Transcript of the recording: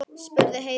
spurði Heiða.